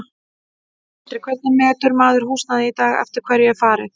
Sindri: Hvernig metur maður húsnæði í dag, eftir hverju er farið?